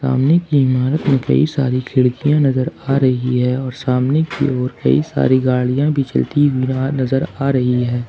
सामने की इमारत में कई सारी खिड़कियां नजर आ रही है और सामने की ओर कई सारी गाड़ियां भी चलती हुई वहां नजर आ रही है।